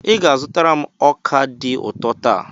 Ị ga-azụtara m ọka dị ụtọ taa.